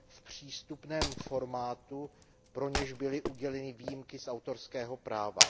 v přístupném formátu, pro něž byly uděleny výjimky z autorského práva.